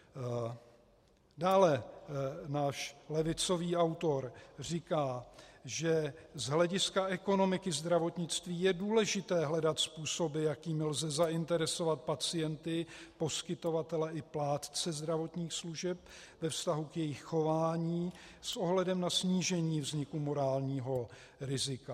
Dále náš levicový autor říká, že "z hlediska ekonomiky zdravotnictví je důležité hledat způsoby, jakými lze zainteresovat pacienty, poskytovatele i plátce zdravotních služeb ve vztahu k jejich chování s ohledem na snížení vzniku morálního rizika.